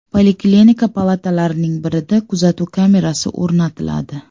Poliklinika palatalarining birida kuzatuv kamerasi o‘rnatiladi.